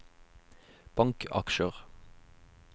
bankaksjer